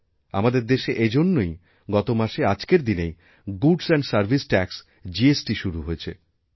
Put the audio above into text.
আমাদের দেশে এজন্যই গতমাসে আজকের দিনেই goods and service tax GST শুরু হয়েছে